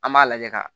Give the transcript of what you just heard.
An b'a lajɛ ka